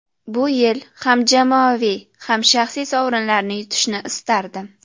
Bu yil ham jamoaviy, ham shaxsiy sovrinlarni yutishni istardim.